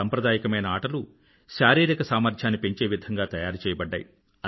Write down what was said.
సంప్రదాయకమైన ఆటలు శారీరిక సామర్థ్యాన్ని పెంచే విధంగా తయారుచెయ్యబడ్డాయి